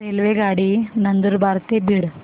रेल्वेगाडी नंदुरबार ते बीड